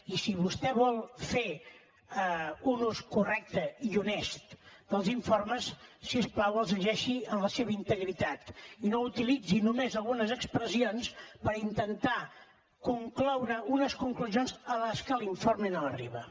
i si vostè vol fer un ús correcte i honest dels informes si us plau llegeixi’ls en la seva integritat i no n’utilitzi només algunes expressions per intentar concloure unes conclusions a les que l’informe no arriba